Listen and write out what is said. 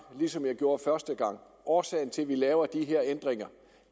ligesom jeg gjorde første gang årsagen til at vi laver de her ændringer